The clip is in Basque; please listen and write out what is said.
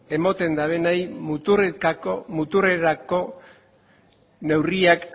ematen dutenei muturrerako neurriak